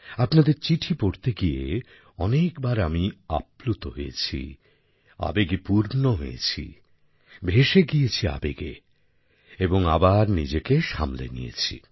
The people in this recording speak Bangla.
আপনাদের চিঠি পড়তে গিয়ে অনেক বার আমি আপ্লুত হয়েছি আবেগে পূর্ণ হয়েছি ভেসে গিয়েছি আবেগে এবং আবার নিজেকে সামলে নিয়েছি